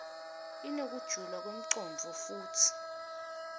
inekujula kwemcondvo futsi